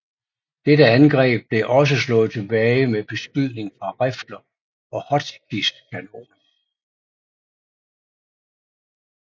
Dette angreb blev også slået tilbage med beskydning fra rifler og Hotchkiss kanoner